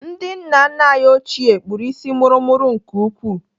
Ndị nna nna anyị ochie kpụrụ isi mụrụmụrụ nke ukwuu.